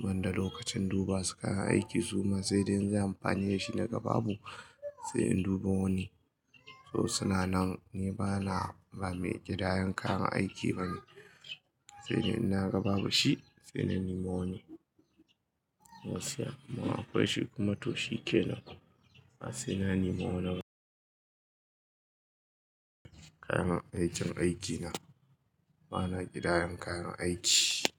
banda lokacin duba suka aiki zuma sai dai in yi amfani da shi na ga babu, sai in dubo wani. To sananan ni bana ba mai ƙidayan kayan aiki bane. Sai dai in na ga babu shi, sai na nema wani. Gaskiya, kuma akwai shi kuma to shi kenan. Sai na nema wannan kayan aikin aikina. Bana ƙidayan kayan aiki.